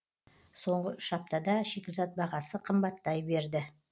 соңғы үш аптада шикізат бағасы қымбаттай берді